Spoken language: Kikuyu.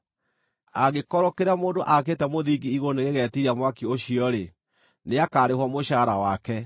Angĩkorwo kĩrĩa mũndũ aakĩte mũthingi-igũrũ nĩgĩgetiiria mwaki ũcio-rĩ, nĩakarĩhwo mũcaara wake.